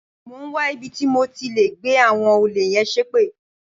Mò ń wá ibi tí mo ti lè gbẹ́ àwọn olè yẹn ṣépè.